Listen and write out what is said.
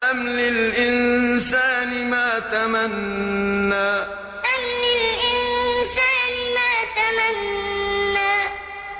أَمْ لِلْإِنسَانِ مَا تَمَنَّىٰ أَمْ لِلْإِنسَانِ مَا تَمَنَّىٰ